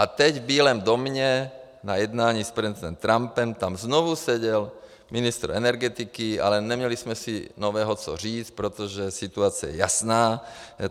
A teď v Bílém domě na jednání s prezidentem Trumpem tam znovu seděl ministr energetiky, ale neměli jsme si nového co říct, protože situace je jasná.